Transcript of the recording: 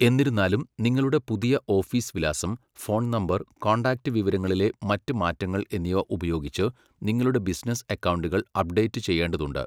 എന്നിരുന്നാലും, നിങ്ങളുടെ പുതിയ ഓഫീസ് വിലാസം, ഫോൺ നമ്പർ, കോൺടാക്റ്റ് വിവരങ്ങളിലെ മറ്റ് മാറ്റങ്ങൾ എന്നിവ ഉപയോഗിച്ച് നിങ്ങളുടെ ബിസിനസ്സ് അക്കൗണ്ടുകൾ അപ്ഡേറ്റ് ചെയ്യേണ്ടതുണ്ട്.